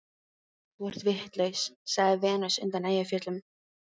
Þú ert vitlaus, sagði Venus undan Eyjafjöllum.